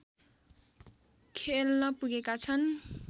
खेल्न पुगेका छन्